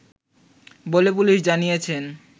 বলে পুলিশ জানিয়েছে